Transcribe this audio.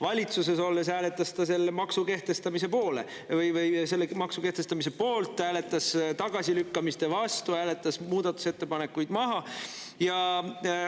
Valitsuses olles hääletas ta selle maksu kehtestamise poolt, hääletas tagasilükkamiste vastu, hääletas muudatusettepanekuid maha.